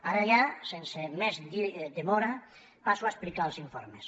ara ja sense més demora passo a explicar els informes